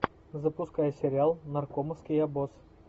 запускай сериал наркомовский обоз